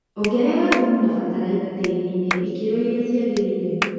Ongrera thumu na bataraitha tĩrinĩ ikĩro iria ciagĩrĩire.